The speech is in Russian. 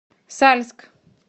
сальск